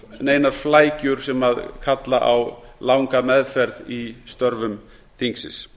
neinar flækjur sem kalla á langa meðferð í störfum þingsins